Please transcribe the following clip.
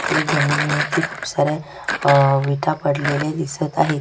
खाली जमिनी वरती खुप साऱ्या विटा पडलेल्या दिसत आहेत.